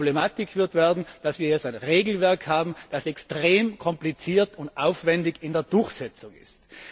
Aber die Problematik wird werden, dass wir jetzt ein Regelwerk haben, das extrem kompliziert und aufwändig in der Durchsetzung ist.